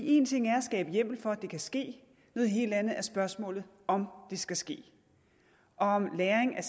en ting er at skabe hjemmel for at det kan ske noget helt andet er spørgsmålet om det skal ske og om lagring af